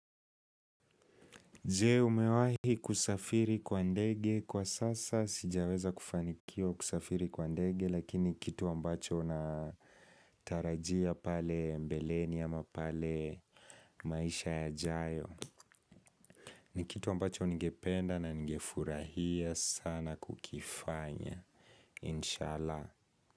Je umewahi kusafiri kwa ndege? Kwa sasa sijaweza kufanikiwa kusafiri kwa ndege lakini kitu ambacho natarajia pale mbeleni ama pale maisha yajayo. Ni kitu ambacho ningependa na ningefurahia sana kukifanya. Inshallah.